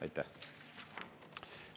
Aitäh!